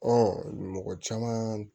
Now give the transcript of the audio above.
mɔgɔ caman